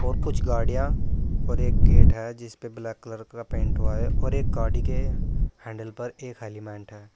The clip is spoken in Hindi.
कुछ गाडियां और एक गेट है जिस पे ब्लैक कलर का पेंट हुआ है और एक गाड़ी के हैंडल पर एक हेलिमेंट है।